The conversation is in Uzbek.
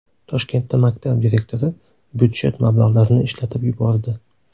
Toshkentda maktab direktori budjet mablag‘larini ishlatib yubordi.